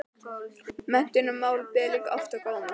Menntunarmál ber líka oft á góma.